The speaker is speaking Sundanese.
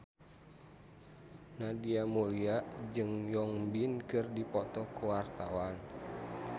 Nadia Mulya jeung Won Bin keur dipoto ku wartawan